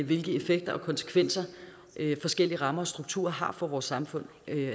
hvilke effekter og konsekvenser forskellige rammer og strukturer har for vores samfund